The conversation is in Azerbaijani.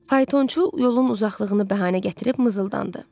Faytonçu yolun uzaqlığını bəhanə gətirib mızıldandı.